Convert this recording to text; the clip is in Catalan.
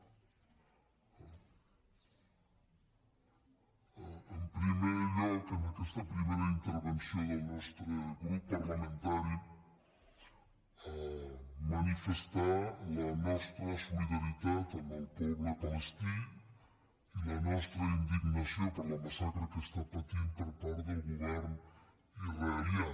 en primer lloc en aquesta primera intervenció del nostre grup parlamentari manifestar la nostra solidaritat amb el poble palestí i la nostra indignació per la massacre que està patint per part del govern israelià